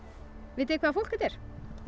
vitið þið hvaða fólk þetta er